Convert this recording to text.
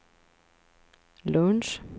lunch